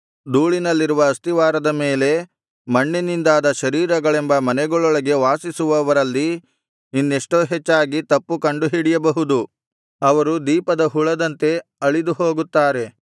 ಧೂಳಿನಲ್ಲಿರುವ ಅಸ್ತಿವಾರದ ಮೇಲೆ ಮಣ್ಣಿನಿಂದಾದ ಶರೀರಗಳೆಂಬ ಮನೆಗಳೊಳಗೆ ವಾಸಿಸುವವರಲ್ಲಿ ಇನ್ನೆಷ್ಟೋ ಹೆಚ್ಚಾಗಿ ತಪ್ಪು ಕಂಡುಹಿಡಿಯಬಹುದು ಅವರು ದೀಪದ ಹುಳದಂತೆ ಅಳಿದು ಹೋಗುತ್ತಾರೆ